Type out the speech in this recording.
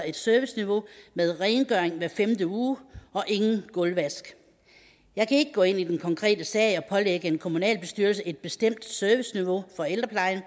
et serviceniveau med rengøring hver femte uge og ingen gulvvask jeg kan ikke gå ind i den konkrete sag og pålægge en kommunalbestyrelse et bestemt serviceniveau for ældreplejen